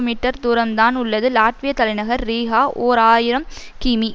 metre தூரம்தான் உள்ளது லாட்விய தலைநகர் ரீகா ஓர் ஆயிரம் கிமீ